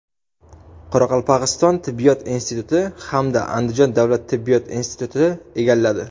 Qoraqalpog‘iston tibbiyot instituti hamda Andijon davlat tibbiyot instituti egalladi.